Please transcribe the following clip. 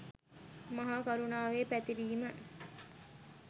මහා කරුණාවේ පැතිරීම